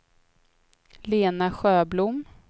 Lena Sjöblom